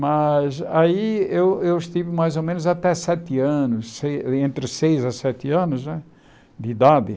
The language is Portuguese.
Mas aí eu estive mais ou menos até sete anos, se entre seis a sete anos né de idade.